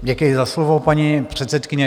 Děkuji za slovo, paní předsedkyně.